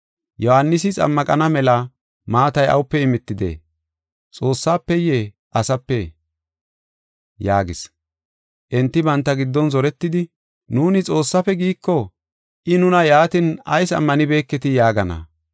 Yohaanisi xammaqana mela maatay awupe imetidee? Xoossafeye asapee?” yaagis. Enti banta giddon zoretidi, “Nuuni, ‘Xoossafe’ giiko, I nuna, ‘Yaatin ayis ammanibeketii?’ yaagana.